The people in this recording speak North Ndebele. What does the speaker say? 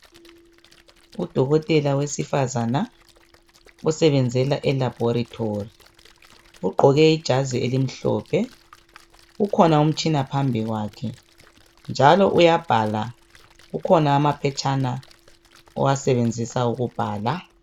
Udokotela wesifazana osebenzela elabhorethori. Ugqoke ijazi elimhlophe, ukhona umtshina phambi kwakhe njalo uyabhala, kukhona amaphetshana owasebenzisa ukubhala.